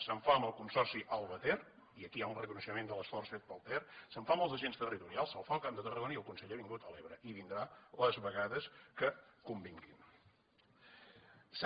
se’n fa amb el consorci alba ter i aquí hi ha un reconeixement de l’esforç fet pel ter se’n fa amb els agents territorials se’n fa al camp de tar ragona i el conseller ha vingut a l’ebre i vindrà les vegades que convingui